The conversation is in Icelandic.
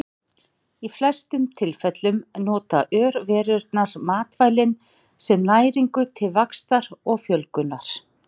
Í flestum tilfellum nota örverurnar matvælin sem næringu til vaxtar og fjölgunar.